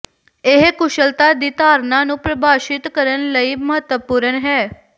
ਇਹ ਕੁਸ਼ਲਤਾ ਦੀ ਧਾਰਣਾ ਨੂੰ ਪ੍ਰਭਾਸ਼ਿਤ ਕਰਨ ਲਈ ਮਹੱਤਵਪੂਰਨ ਹੈ